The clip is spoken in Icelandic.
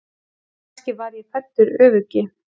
Kannski var ég fæddur öfuguggi.